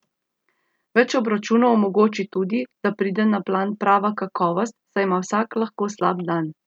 Več obračunov omogoči tudi, da pride na plan prava kakovost, saj ima vsak lahko slab dan.